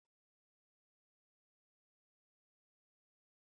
Manoma, da aka fi sani da Nde Ogbogu, suna aikin ƙasa, gumin su yana ci gaba da rayuwa ga kowa.